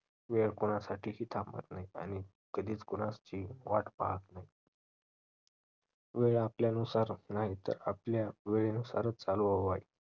वेळ कोणासाठीही थांबत नाही आणि कधीच कोणासचीही वाट पाहत नाही. वेळ आपल्यानुसार नाही तर आपल्या वेळेनुसारच चालवावे